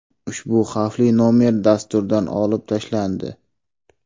Ushbu xavfli nomer dasturdan olib tashlandi.